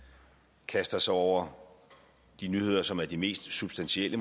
kaster sig over de nyheder som måske er de mest substantielle